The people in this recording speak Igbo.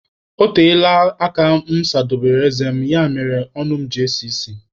Ọ teela aka mụ sadobere eze mụ, ya mere ọnụ mụ ji esi isi